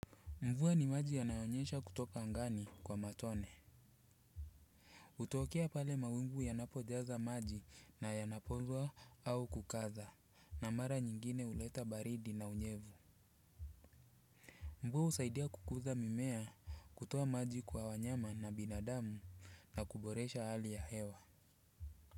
Mvua ni maji yanayonyesha kutoka angani kwa matone. Hutokea pale mawingu yanapojaza maji na yanapokuwa mazito au kukaza, na mara nyingine huleta baridi na unyevu. Mvua husaidia kukuza mimea, kutoa maji kwa wanyama na binadamu, na kuboresha hali ya hewa.